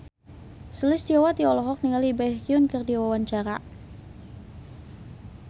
Sulistyowati olohok ningali Baekhyun keur diwawancara